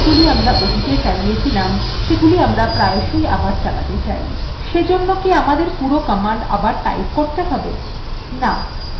যে commandগুলি আমরা অতীতে চালিয়েছিলাম সেগুলি আমরা প্রায়শই আবার চালাতে চাই সেজন্য কি আমাদের পুরো command আবার type করতে have